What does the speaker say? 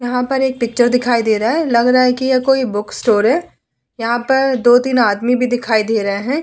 यहाँ पर एक पिक्चर दिखाई दे रहा है लग रहा है कि यह कोई बुक स्टोर है यहाँ पर दो-तीन आदमी भी दिखाई दे रहे है ।